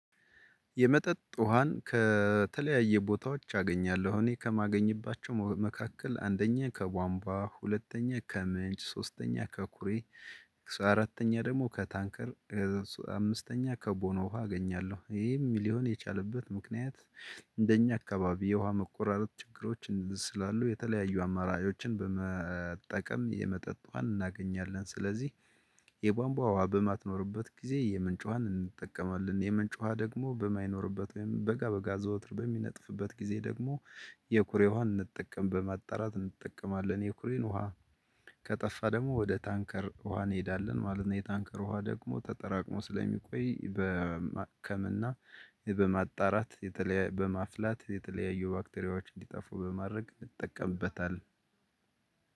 የመጠጥ ውሃን ከተለያየ ቦታዎች አገኛለሁ እኔ ከማገኝባቸው መካከል አንደኛ ከቧንቧ ሁለተኛ ከምንጭ ሶስተኛ ከኩሬ አራተኛ ደግሞ ከታንከር አምስተኛ ከቦኖ ውሃ አገኛለሁ ይሄም ሊሆን የቻለበት ምክንያት። እንደኛ አካባቢ የውሃ መቆራረጥ ችግሮች ስላሉ የተለያዩ አማራጮችን በመጠቀም የመጠጥ ዋን እናገኛለን። ስለዚህ የቧንቧ ውሃ በማትኖርበት ጊዜ የምንጭ ውሃን እንጠቀማለን የምንጭ ውሃ ደግሞ በማይኖርበት ወይም በጋ በጋ ዘወትር በሚነጥፍበት ጊዜ ደግሞ የኩሬ ውሃን እንጠቀም በማጣራት እንጠቀማለን። የኩሬን ውሃ ከጠፋ ደግሞ ወደ ታንከር ውሃ እንሄዳለን ማለት ነው። የታንከር ውሃ ደግሞ ተጠራቅሞ ስለሚቆይ በማከም እና በማጣራት የተለያየ በማፍላት የተለያየ ባክቴሪያዎች እንዲጠፉ በማድረግ እጠቀምበታለሁ።